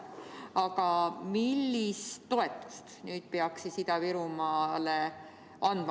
Aga millist toetust peaks siis Ida-Virumaale andma?